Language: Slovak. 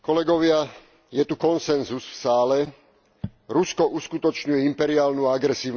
Je tu konsenzus v sále Rusko uskutočňuje imperiálnu a agresívnu politiku.